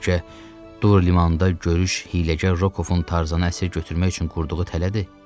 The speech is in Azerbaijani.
Bəlkə dur limanında görüş hiyləgər Rokovun Tarzanı əsir götürmək üçün qurduğu tələdir.